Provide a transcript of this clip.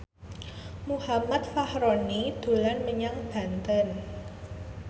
Muhammad Fachroni dolan menyang Banten